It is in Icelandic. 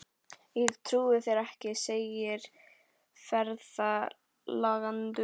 Ég trúi þér ekki, segir ferðalangur.